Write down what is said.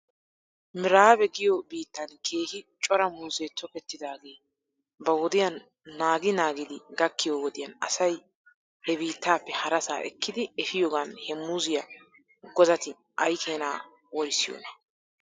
Miraabe giyoo biittan keehi cora muuzee tokettidaagee ba wodiyaa naagi naagidi gakkiyoo wodiyan asay hebiittappe harasaa ekkidi efiyoogan he muuziyaa godati aykeenaa worissiyoonaa?